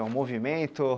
É um movimento?